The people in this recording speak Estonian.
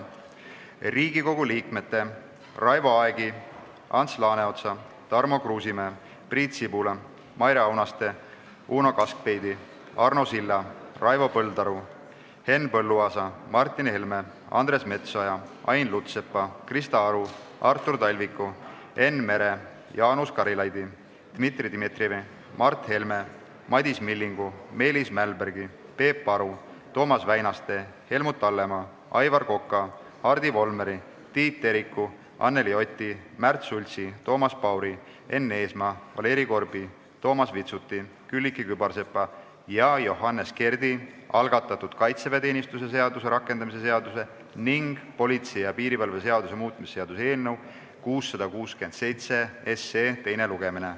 Riigikogu liikmete Raivo Aegi, Ants Laaneotsa, Tarmo Kruusimäe, Priit Sibula, Maire Aunaste, Uno Kaskpeiti, Arno Silla, Raivo Põldaru, Henn Põlluaasa, Martin Helme, Andres Metsoja, Ain Lutsepa, Krista Aru, Artur Talviku, Enn Mere, Jaanus Karilaidi, Dmitri Dmitrijevi, Mart Helme, Madis Millingu, Meelis Mälbergi, Peep Aru, Toomas Väinaste, Helmut Hallemaa, Aivar Koka, Hardi Volmeri, Tiit Teriku, Anneli Oti, Märt Sultsi, Toomas Pauri, Enn Eesmaa, Valeri Korbi, Toomas Vitsuti, Külliki Kübarsepa ja Johannes Kerdi algatatud kaitseväeteenistuse seaduse rakendamise seaduse ning politsei ja piirivalve seaduse muutmise seaduse eelnõu 667 teine lugemine.